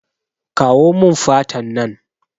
Kawo mun fatan nan